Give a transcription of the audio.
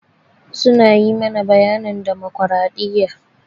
Su na yi mana bayanin damokradiyya.